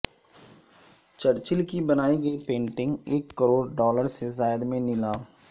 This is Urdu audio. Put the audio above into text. چرچل کی بنائی گئی پینٹنگ ایک کروڑ ڈالر سے زائد میں نیلام